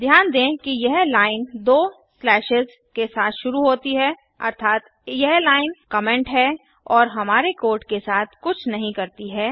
ध्यान दें कि यह लाइन दो स्लैशेस के साथ शुरू होती है अर्थात यह लाइन कमेन्ट है और हमारे कोड के साथ कुछ नहीं करती है